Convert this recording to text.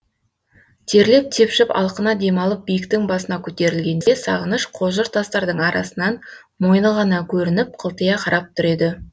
терлеп тепшіп алқына демалып биіктің басына көтерілгенде сағыныш қожыр тастардың арасынан мойны ғана көрініп қылтия қарап тұр еді